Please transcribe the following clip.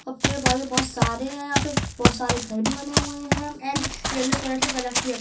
अब पेड़ -पौधे बहुत सारे है यहाँ पे बहुत सारे घर भी बने हुए हैं एण्ड येलो कलर से कलर किया--